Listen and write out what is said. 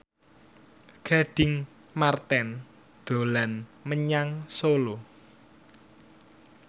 Gading Marten dolan menyang Solo